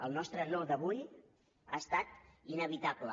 el nostre no d’avui ha estat inevitable